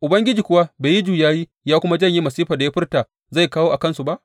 Ubangiji kuwa bai yi juyayi ya kuma janye masifar da ya furta zai kawo a kansu ba?